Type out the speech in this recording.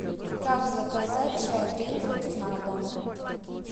как заказать чай гринфилд на дом